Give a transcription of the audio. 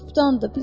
Turpdanndır.